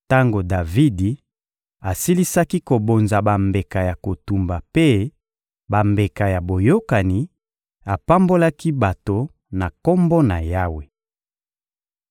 Tango Davidi asilisaki kobonza bambeka ya kotumba mpe bambeka ya boyokani, apambolaki bato na Kombo na Yawe.